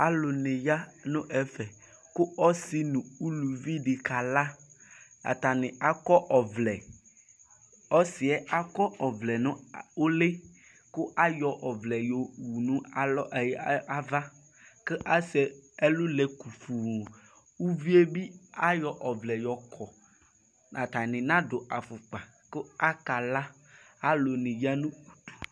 Alu ni ya nʋ ɛƒɛ kʋ ɔsi nu ʋluvi di kalaatani akɔ ɔvlɛɔsi yɛ akɔ ɔvlɛ nʋ ʋlikʋ ayɔ ɔvlɛ yɔwu nu alɔ, ee, avakʋ asɛ ɛlʋ lɛ kuguuuviyɛ bi ayɔ ɔvlɛ yɔkɔatani nadu afukpaku akala alu ni yanʋ